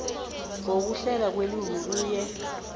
ngokuhlelwa kwelimi kunye